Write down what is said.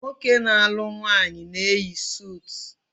Nwoke na-alu nwaanyi na-eyi sutu